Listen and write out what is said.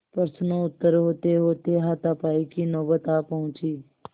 प्रश्नोत्तर होतेहोते हाथापाई की नौबत आ पहुँची